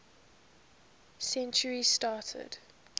century started